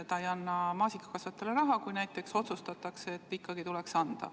Ta ei anna maasikakasvatajatele raha, kui näiteks otsustatakse, et ikkagi tuleks anda.